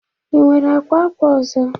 Ị nwere akwa akwa ọzọ?